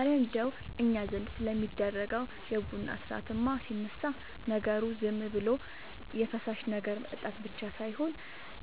እረ እንደው እኛ ዘንድ ስለሚደረገው የቡና ሥርዓትማ ሲነሳ፣ ነገሩ ዝም ብሎ የፈሳሽ ነገር መጠጣት ብቻ ሳይሆን